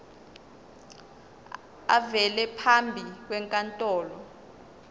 avele phambi kwenkantolo